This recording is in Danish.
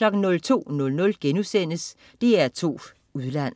02.00 DR2 Udland*